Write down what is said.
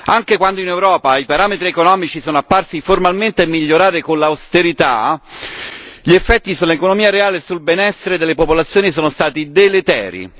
Anche quando in Europa i parametri economici sono apparsi formalmente a migliorare con l'austerità, gli effetti sull'economia reale e sul benessere delle popolazioni sono stati deleteri.